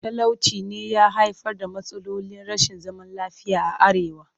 Talauci ne ya haifar da matsalolin rashin zaman lafiya a arewa